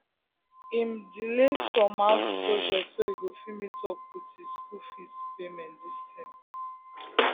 um him um delay some house project so him go fit meet up with school fees um payment diz term